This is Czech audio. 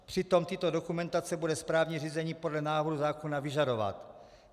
Přitom tyto dokumentace bude správní řízení podle návrhu zákona vyžadovat.